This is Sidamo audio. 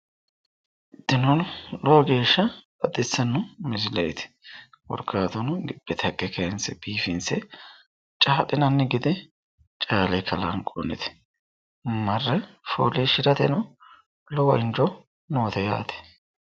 Tini lowo geeshsha baxissanno misileeti. Korkaatuno gibbete haqqe kayinse biifinse caa'linanni gede caale kalanqoonnite. Marre fooliishshirateno lowo injo noote yaate.